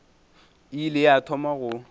e ile ya thoma go